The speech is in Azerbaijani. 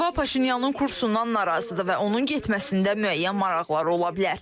Moskva Paşinyanın kursundan narazıdır və onun getməsində müəyyən maraqları ola bilər.